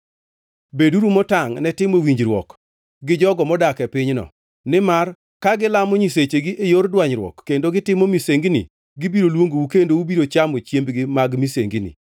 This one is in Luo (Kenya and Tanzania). “Beduru motangʼ ne timo winjruok gi jogo modak e pinyno; nimar ka gilamo nyisechegi e yor dwanyruok kendo gitimo misengini gibiro luongou kendo ubiro chamo chiembgi mag misengini.